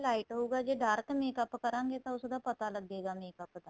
light ਹਉਗਾ ਜੇ dark makeup ਕਰਾਗੇ ਤਾਂ ਉਸ ਦਾ ਪਟਾ ਲੱਗੇਗਾ makeup ਦਾ